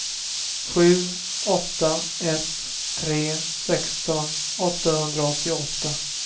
sju åtta ett tre sexton åttahundraåttioåtta